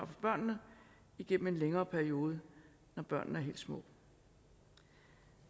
for børnene igennem en længere periode når børnene er helt små